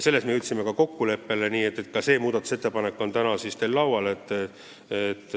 Selles me jõudsime ka kokkuleppele ning seegi muudatusettepanek on täna teil laual.